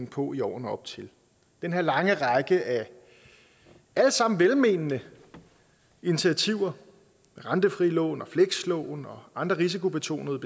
på i årene op til den her lange række af alle sammen velmenende initiativer rentefrie lån flekslån og andre risikobetonede